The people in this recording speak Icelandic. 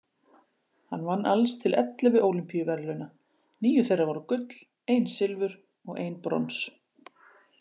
Hann vann alls til ellefu Ólympíuverðlauna, níu þeirra voru gull, ein silfur og ein brons.